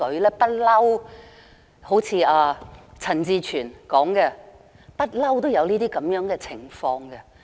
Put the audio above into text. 正如陳志全議員所說，一直都有這種情況。